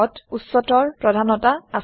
ত উচ্চতৰ প্ৰধানতা আছে